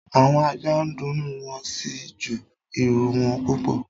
Àwọn ajá ń dunnú wọ́n sì ń ju ìrù wọn púpọ̀